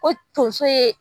Ko tonso ye.